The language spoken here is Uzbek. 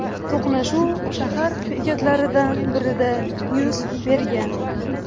To‘qnashuv shahar bekatlaridan birida yuz bergan.